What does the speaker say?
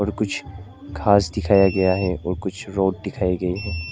और कुछ घास दिखाया गया है और कुछ रोड दिखाई गई है।